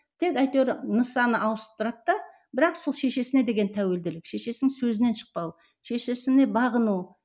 тек әйтеуір нысаны ауыстырады да бірақ сол шешесіне деген тәуелділік шешесінің сөзінен шықпау шешесіне бағыну